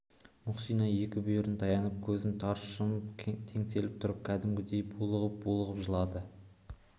мұхсина екі бүйірін таянып көзін тарс жұмып теңселіп тұрып кәдімгідей булығып-булығып жылады